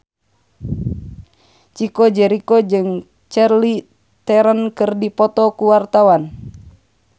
Chico Jericho jeung Charlize Theron keur dipoto ku wartawan